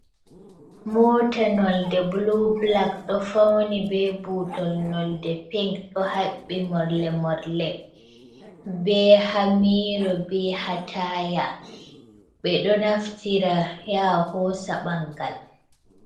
Mota nolde bulu bulak ɗo fauni be butol nolde pink ɗo habbi morle morle, be hamiro, be hataya, ɓeɗo naftira ya hosa ɓangal.